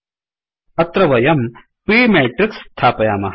अत्र वयं p matrixमेट्रिक्स् स्थापयामः